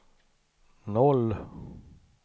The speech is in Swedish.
O